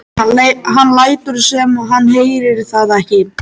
Hann lætur sem hann heyri það ekki.